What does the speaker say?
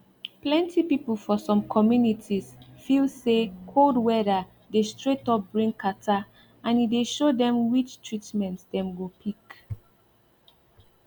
plenty people for some communities feel say cold weather dey straight up bring catarrh and e dey show dem which treatment dem go pick